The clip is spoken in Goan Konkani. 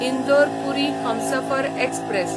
इंदोर पुरी हमसफर एक्सप्रॅस